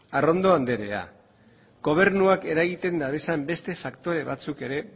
arrondo anderea gobernuak eragiten dituen beste faktore batzuk ere